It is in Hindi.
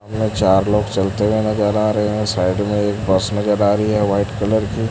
सामने चार लोग चलते हुए नजर आ रहे हैं साइड में एक बस नजर आ रही है व्हाइट कलर की।